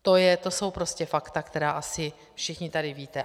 To jsou prostě fakta, která asi všichni tady víte.